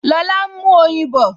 Lọlá n mú oyin bọ̀